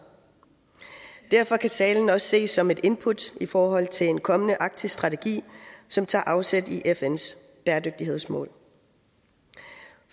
derfor kan talen også ses som et input i forhold til en kommende arktis strategi som tager afsæt i fns bæredygtighedsmål